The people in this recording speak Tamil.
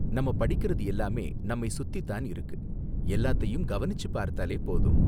நம்ம படிக்கிறது எல்லாமே நம்மை சுத்தி தான் இருக்கு, எல்லாத்தையும் கவனிச்சுப் பார்த்தாலே போதும்.